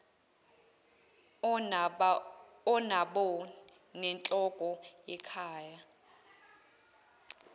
onabo nenhloko yekhaya